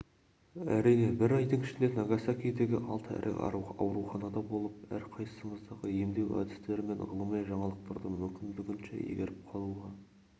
әрине бір айдың ішінде нагасакидегі алты ірі ауруханада болып әрқайсысындағы емдеу әдістері мен ғылыми жаңалықтарды мүмкіндігінше игеріп қалуға